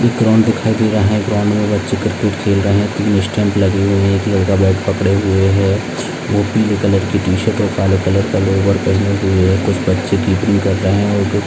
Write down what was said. एक ग्राउंड दिखाई दे रहा है ग्राउंड मे बच्चे क्रिकेट खेल रहे है तीन स्टंप लगे हुए है एक लड़का बैट पकड़े हुए है वो पीले कलर की टी-शर्ट और काले कलर का लोवर पेहने हुए है कुछ बच्चे किपिंग कर रहे है।